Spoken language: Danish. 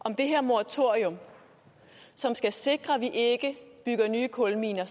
om det her moratorium som skal sikre at vi ikke bygger nye kulminer